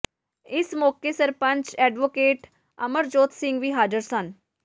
ਇਸ ਮੌਕੇ ਸਰਪੰਚ ਐਡਵੋਕੇਟ ਅਮਰਜੋਤ ਸਿੰਘ ਵੀ ਹਾਜ਼ਰ ਸਨ